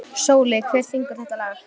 Sóli, hver syngur þetta lag?